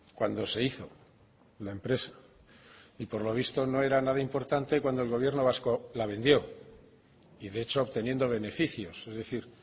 cuando se hizo la empresa y por lo visto no era nada importante cuando el gobierno vasco la vendió y de hecho obteniendo beneficios es decir